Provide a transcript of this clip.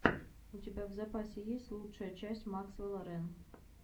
у тебя в запасе есть лучшая часть максвелла рэн